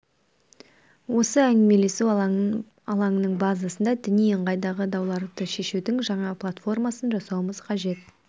осы әңгімелесу алаңының базасында діни ыңғайдағы дауларды шешудің жаңа платформасын жасауымыз қажет